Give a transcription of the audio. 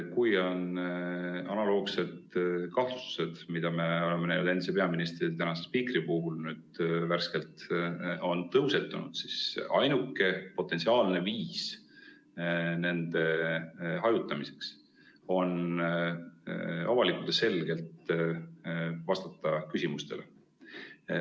Kui on analoogsed kahtlustused, mis meil endise peaministri, praeguse spiikri puhul nüüd värskelt tõusetunud, siis ainuke potentsiaalne viis nende hajutamiseks on avalikult ja selgelt vastata küsimustele.